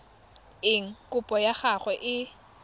eng kopo ya gago e